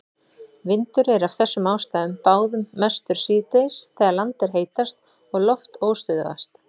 Vindur er af þessum ástæðum báðum mestur síðdegis þegar land er heitast og loft óstöðugast.